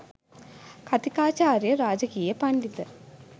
කථිකාචාර්ය ‍රාජකීය පණ්ඩිත